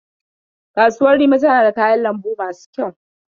Kasuwar rimi tana da kayan lambu masu kyau.